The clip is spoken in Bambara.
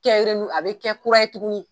a bɛ kɛ kura ye tuguni.